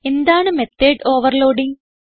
എന്താണ് method overloading